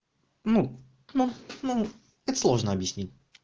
ну ну ну это сложно объяснить